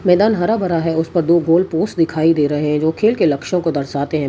मैदान हरा भरा है उसे पर दो गोल पोस्ट दिखाई दे रहे हैं जो खेल के लक्ष्य को दर्शाते हैं हमे --